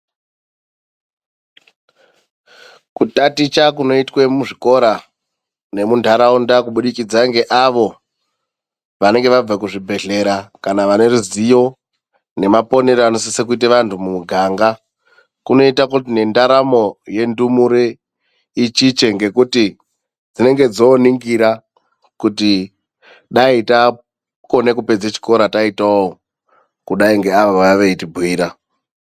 Kutaticha kunoitwe muzvikora nemundataunda kubudikidza ngeavo vanenge vabva muzvibhedhlera ,kana vaneruzivo nemaponero anosisa kuita vantu mumuganga, kunoita kuti nendaramo yendumure ichiche ngekuti dzinenge dzoningira kuti dai takone kupedza chikoro taitawo kudayi ngeavo vauya veiti bhuyira.